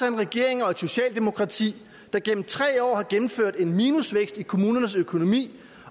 en regering og et socialdemokrati der igennem tre år har gennemført en minusvækst i kommunernes økonomi